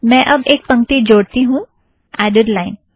मैं अब एक पंक्ति जोड़ती हूँ - एड़ेड़ लाइन